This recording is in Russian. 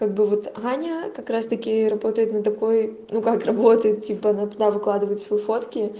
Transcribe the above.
как бы вот аня как раз-таки работает на такой ну как работает типа на она выкладывает свои фотки